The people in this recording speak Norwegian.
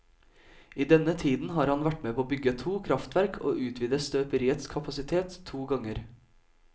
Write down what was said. I denne tiden har han vært med på å bygge to kraftverk og utvide støperiets kapasitet to ganger.